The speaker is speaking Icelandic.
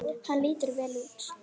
Hann lítur vel út